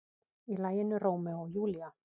Í laginu Rómeó og Júlía.